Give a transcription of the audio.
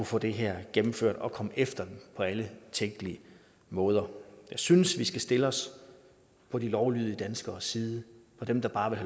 få det her gennemført og komme efter dem på alle tænkelige måder jeg synes vi skal stille os på de lovlydige danskeres side dem der bare vil